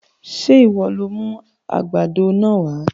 Sé ìwọ lo mú àgbàdo náà wá?